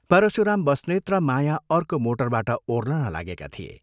परशुराम बस्नेत र माया अर्को मोटरबाट ओर्लन लागेका थिए।